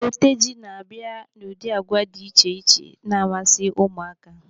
Oteji n'abia n'ụdị agwa dị iche iche na-amasị ụmụaka.